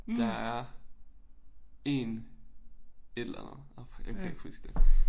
Der er én et eller andet andet åh jeg kan ikke huske det